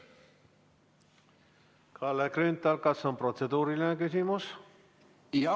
Kalle Grünthal, kas on protseduuriline küsimus?